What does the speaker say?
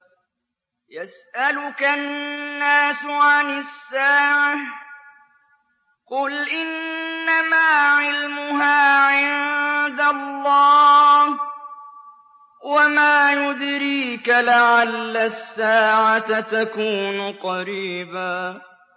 يَسْأَلُكَ النَّاسُ عَنِ السَّاعَةِ ۖ قُلْ إِنَّمَا عِلْمُهَا عِندَ اللَّهِ ۚ وَمَا يُدْرِيكَ لَعَلَّ السَّاعَةَ تَكُونُ قَرِيبًا